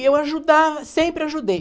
E eu ajudava, sempre ajudei.